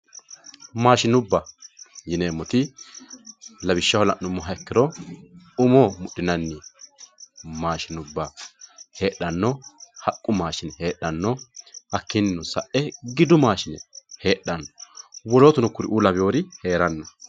Maashinubba yineemmoti lawishshaho la'nuummoha ikkiro umo mudhinanni maashinubba heedhano, haqqu maashinubba heedhano hakkinino sae giddu maashinubba heedhano wolootuno kuriu lawinori heerano.